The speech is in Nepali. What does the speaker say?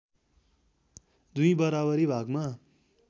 दुई बराबरी भागमा